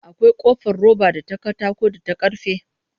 Akwai ƙofar roba da ta katako da ta karfe